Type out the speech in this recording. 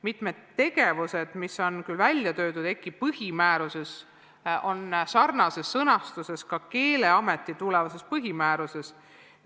Mitmed tegevused, mis on küll kirjas EKI põhimääruses, on sarnases sõnastuses Keeleameti tulevases põhimääruses.